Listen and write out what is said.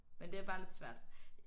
Men det er bare lidt svært